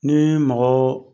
Ni mɔgɔ